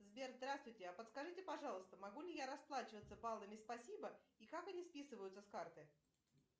сбер здравствуйте а подскажите пожалуйста могу ли я расплачиваться баллами спасибо и как они списываются с карты